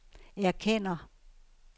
erkender